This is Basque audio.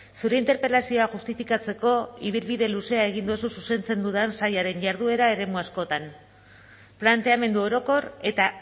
zure interpelazioa justifikatzeko ibilbide luzea egin duzu zuzentzen dudan sailaren jarduera eremu askotan planteamendu orokor eta